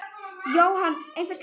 Jóhann: Einhver slys á fólki?